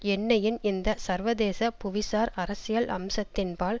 எண்ணெயின் இந்த சர்வதேச புவிசார் அரசியல் அம்சத்தின்பால்